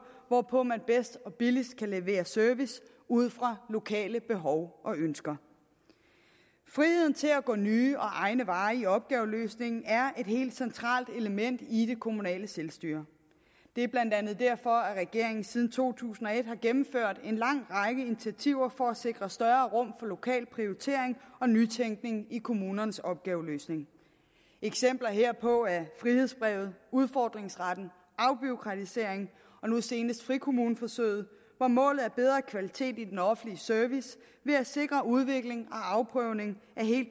hvorpå man bedst og billigst kan levere service ud fra lokale behov og ønsker friheden til at gå nye og egne veje i opgaveløsningen er et helt centralt element i det kommunale selvstyre det er blandt andet derfor at regeringen siden to tusind og et har gennemført en lang række initiativer for at sikre større rum for lokal prioritering og nytænkning i kommunernes opgaveløsning eksempler herpå er frihedsbrevet udfordringsretten afbureaukratisering og nu senest frikommuneforsøget hvor målet er bedre kvalitet i den offentlige service ved at sikre udvikling og afprøvning af